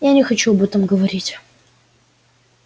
я не хочу об этом говорить